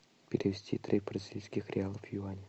перевести три бразильских реала в юани